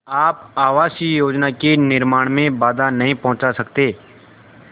आप आवासीय योजना के निर्माण में बाधा नहीं पहुँचा सकते